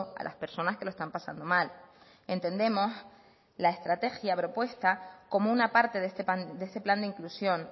a las personas que lo están pasando mal entendemos la estrategia propuesta como una parte de este plan de inclusión